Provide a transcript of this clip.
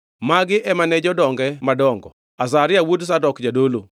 Magi ema ne jodonge madongo: Azaria wuod Zadok jadolo;